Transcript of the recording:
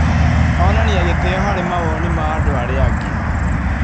Onania gĩtĩo harĩ mawoni ma andũ arĩa angĩ.